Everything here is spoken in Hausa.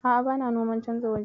A'a, bana noman canja waje.